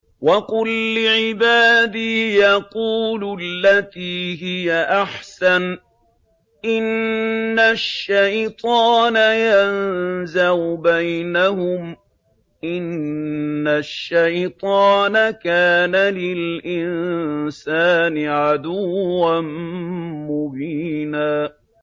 وَقُل لِّعِبَادِي يَقُولُوا الَّتِي هِيَ أَحْسَنُ ۚ إِنَّ الشَّيْطَانَ يَنزَغُ بَيْنَهُمْ ۚ إِنَّ الشَّيْطَانَ كَانَ لِلْإِنسَانِ عَدُوًّا مُّبِينًا